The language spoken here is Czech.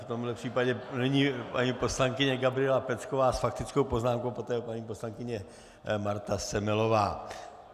V tomhle případě nyní paní poslankyně Gabriela Pecková s faktickou poznámkou, po ní paní poslankyně Marta Semelová.